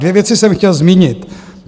Dvě věci jsem chtěl zmínit.